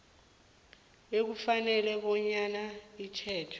ekufanele bafune itjhejo